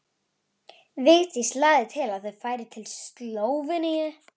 Vigdís lagði til að þau færu til Slóveníu.